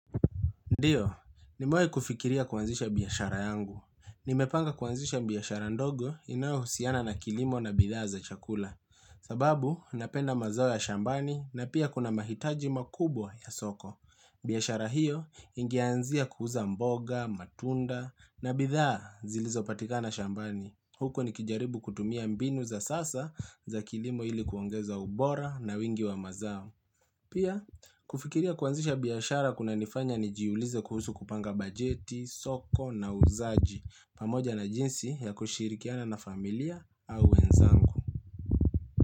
Ndiyo, nimewai kufikiria kuanzisha biashara yangu. Nimepanga kuanzisha biashara ndogo inayo husiana na kilimo na bidhaa za chakula. Sababu, napenda mazao ya shambani na pia kuna mahitaji makubwa ya soko. Biashara hiyo inge anzia kuuza mboga, matunda na bidhaa zilizo patika na shambani. Huku nikijaribu kutumia mbinu za sasa za kilimo ilikuongeza ubora na wingi wa mazao. Pia, kufikiria kuanzisha biashara kuna nifanya nijiulize kuhusu kupanga bajeti, soko na uzaji pamoja na jinsi ya kushirikiana na familia au wenzangu.